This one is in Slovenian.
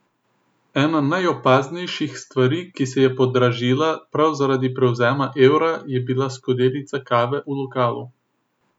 Ena najopaznejših stvari, ki se je podražila prav zaradi prevzema evra, je bila skodelica kave v lokalu.